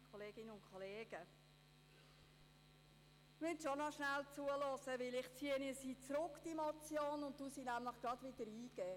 Sie müssen schon noch schnell zuhören, denn ich ziehe die Motion zurück und reiche sie gleich wieder ein.